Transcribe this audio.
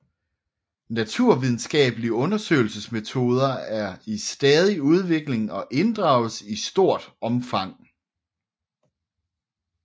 Naturvidenskabelige undersøgelsesmetoder er i stadig udvikling og inddrages i stort omfang